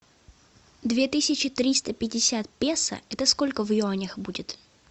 две тысячи триста пятьдесят песо это сколько в юанях будет